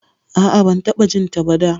A'a, ban taɓa jinta ba da.